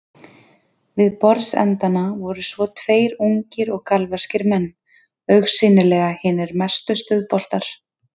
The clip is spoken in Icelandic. Við borðsendana voru svo tveir ungir og galvaskir menn, augsýnilega hinir mestu stuðboltar.